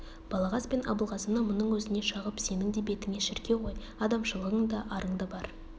балағаз бен абылғазыны мұның өзіне шағып сенің де бетіңе шіркеу ғой адамшылығың да арың да бар